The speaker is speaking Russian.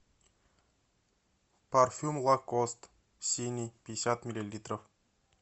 парфюм лакост синий пятьдесят миллилитров